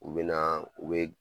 U be naa u be